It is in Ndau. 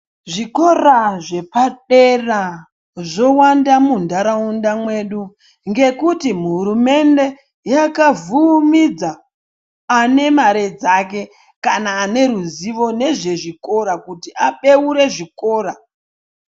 Zvikora zvepadera zvowanda muntaraunda mwedu ngekuti hurumende yakavhumidza ane mare kane ane ruzivo nezvezvikora kuti abeure zvikora.